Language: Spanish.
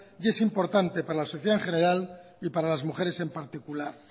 y es importante para la sociedad en general y para las mujeres en particular